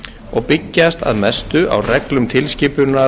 og byggjast að mestu á reglum tilskipunar